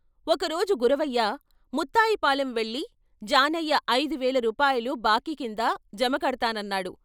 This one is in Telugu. ఒక రోజు గురవయ్య "ముత్తాయిపాలెం వెళ్ళి జానయ్య ఐదువేల రూపాయలు బాకీ కింద జమకడ్తానన్నాడు.